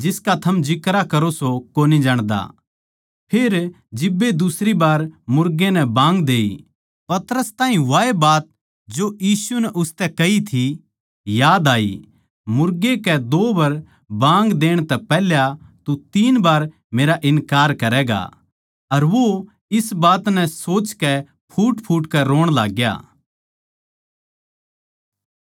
फेर जिब्बे दुसरी बार मुर्गे नै बाँग देई पतरस ताहीं वाए बात जो यीशु नै उसतै कही थी याद आई मुर्गे कै दो बर बाँग देण तै पैहल्या तू तीन बार मेरा इन्कार करैगा अर वो इस बात नै सोचकै फूटफूट कै रोण लाग्या